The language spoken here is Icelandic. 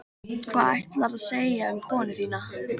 Hvað ætlaðirðu að segja um konuna þína?